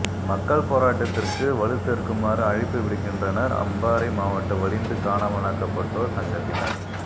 மக்கள் போராட்டத்திற்கு வலுச்சேர்க்குமாறு அழைப்பு விடுக்கின்றனர் அம்பாறை மாவட்ட வலிந்து காணாமலாக்கப்பட்டோர் சங்கத்தினர்